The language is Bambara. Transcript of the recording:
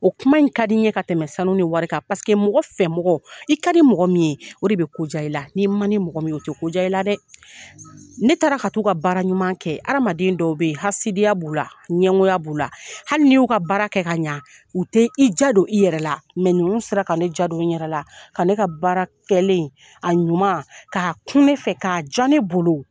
O kuma in ka di in ye ka tɛmɛ sanu ni wari kan, paseke mɔgɔ fɛ mɔgɔ, i ka di mɔgɔ min ye, o de bɛ ko diya i la, ni man di mɔgɔ min ye, o tɛ ko diya i la dɛ, ne taara ka t'u ka baara ɲuman kɛ , adamaden dɔw bɛ yen , hasidiya b'u la ɲɛngoya b'u la , hali n'i y'u ka baara kɛ ka ɲɛ, u tɛ i diya don i yɛrɛ la , mɛ ninnu sera ka ne diya don n yɛrɛ la ka ne ka baara kɛlen, a ɲuman k'a kun ne fɛ k' a diya ne bolo.